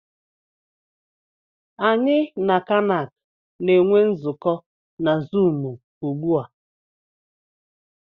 Anyị na Kanac na-enwe nzukọ na zụụmu ugbu a.